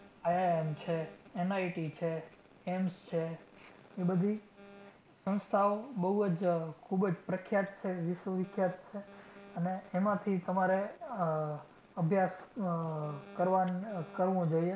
IIM છે, NIT છે AIMS છે ઈ બધી સંસ્થાઓ બઉ જ ખૂબ જ પ્રખ્યાત છે, વિશ્વવિખ્યાત છે અને એમાંથી તમારે આહ અભ્યાસ આહ કરવાનું, આહ કરવું જોઈએ